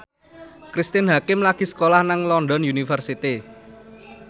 Cristine Hakim lagi sekolah nang London University